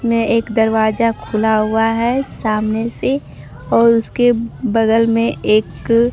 में एक दरवाजा खुला हुआ है सामने से और उसके बगल में एक--